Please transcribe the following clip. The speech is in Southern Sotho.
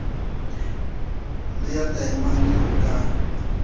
le ya taemane ho ka